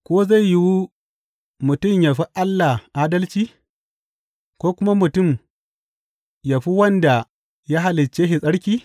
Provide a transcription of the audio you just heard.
Ko zai yiwu mutum yă fi Allah adalci, ko kuma mutum yă fi wanda ya halicce shi tsarki?